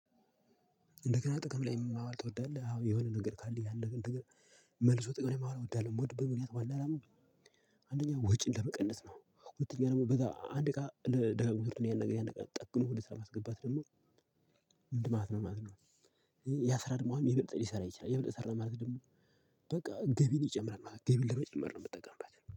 እንደገና ጥቅም ላይ ማዋልት ትወዳለህ? አዎ። የሆነ ነገር ካለ ያን ነገር መልሶ ጥቅም ማወል እወዳለሁ። የምወድበው ምክንያት ዋና አላማው አንደኛ ወጪን ለመቀነስ ነው። ሁለተኛ ደግሞ በዛ አንድ እቃ ለ ደጋግሞ ስርተው ያን ነገር ያን ነገር ጠግኖ ወደ ስራ ለማስገባት ደግሞ እወዳለሁ ማለት ነው። ያ ሰራ ደግሞ ይብልጥ ሊሰራ ይችላል፣ የበለጠ ሰራ ማለት ደግሞ በቃ ገቢን ይጨምራል ማለት ነው። ገቢን ለመጨመር ነው የምትጠቀምበት።